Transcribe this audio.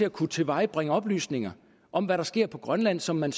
at kunne tilvejebringe oplysninger om hvad der sker på grønland som man